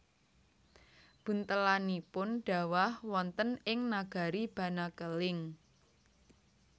Buntelanipun dhawah wonten ing nagari Banakeling